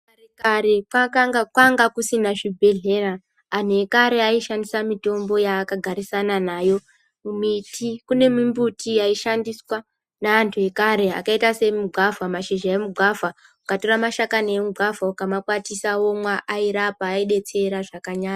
Makare kare kwanga kusina zvibhedhlera. Anhu ekare aishandisa mitombo yaakagarisana nayo. Miti, kune mimbuti yaishandiswa naantu ekare yakaita semigwavha mashizha emugwavha. Ukatora mashakani emugwavha ukamakwatisa womwa airapa aidetsera zvakanyanya.